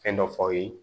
Fɛn dɔ f'aw ye